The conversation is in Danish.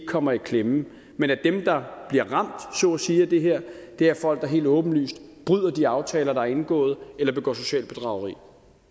kommer i klemme men at dem der bliver ramt så at sige af det her er folk der helt åbenlyst bryder de aftaler der er indgået eller begår socialt bedrageri